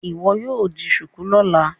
Iwọ yíò dì shuku lọla!